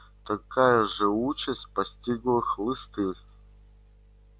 такая же участь постигла хлысты